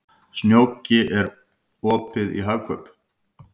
Snjóki, er opið í Hagkaup?